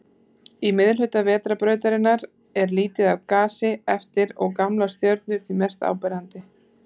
Í miðhluta Vetrarbrautarinnar er lítið af gasi eftir og gamlar stjörnur því mest áberandi.